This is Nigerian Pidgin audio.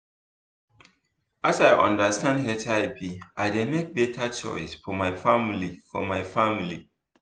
as i understand hiv i dey make better choice for my family for my family